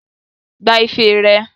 Gba ife rẹ!